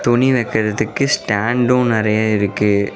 துணி வெக்கறதுக்கு ஸ்டாண்டும் நெறைய இருக்கு.